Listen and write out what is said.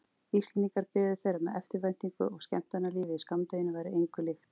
Íslendingar biðu þeirra með eftirvæntingu og skemmtanalífið í skammdeginu væri engu líkt.